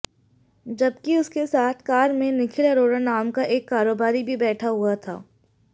जबकि उसके साथ कार में निखिल अरोड़ा नाम का एक कारोबारी भी बैठा हुआ था